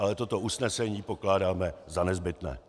Ale toto usnesení pokládáme za nezbytné.